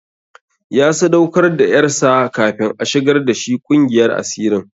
Ya sadaukar da ƴarsa kafin a shigar da shi ƙungiyar asirin.